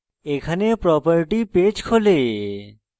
এখানে property page খোলে